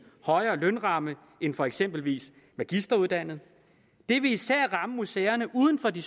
højere lønramme end for eksempel magisteruddannede det vil især ramme museerne uden for de